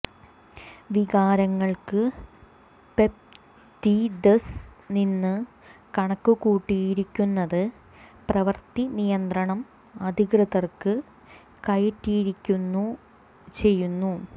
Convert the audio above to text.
വികാരങ്ങൾക്ക് peptides നിന്ന് കണക്കുകൂട്ടിയിരിക്കുന്നത് പ്രവൃത്തി നിയന്ത്രണം അധികൃതർക്ക് കയറ്റിയിരിക്കുന്ന ചെയ്യുന്നു